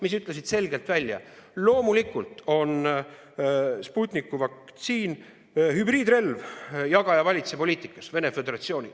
Nad ütlesid selgelt: loomulikult on Sputniku vaktsiin Venemaa Föderatsiooni hübriidrelv jaga-ja-valitse-poliitikas.